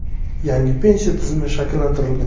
Yangi pensiya tizimi shakllantirilgan.